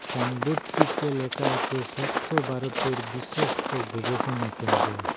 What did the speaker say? সাইনবোডটিতে লেখা আছে সুস্থ ভারতের বিশ্বস্ত গবেষণা কেন্দ্র।